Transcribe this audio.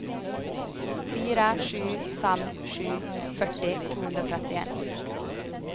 fire sju fem sju femti to hundre og trettien